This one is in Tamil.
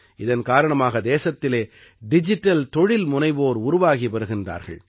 இதன் காரணமாக தேசத்திலே டிஜிட்டல் தொழில்முனைவோர் உருவாகி வருகின்றார்கள்